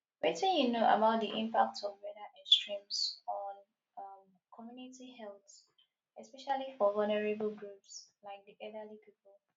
wetin you know about di impact of weather extremes on um community health especially for vulnerable groups like di elderly people